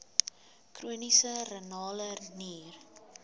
chroniese renale nier